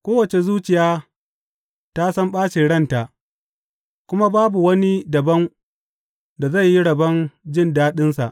Kowace zuciya ta san ɓacin ranta, kuma babu wani dabam da zai yi rabon jin daɗinsa.